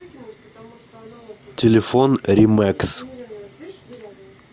телефон римэкс